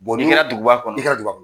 Ni n kɛra duguba kɔnɔ, i kɛra duguba kɔnɔ.